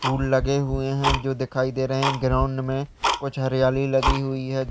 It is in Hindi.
फूल लगे हुए हैं जो दिखाई दे रहे हैं ग्राउंड मे। कुछ हरियाली लगी हुई है।